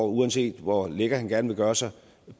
uanset hvor lækker han gerne vil gøre sig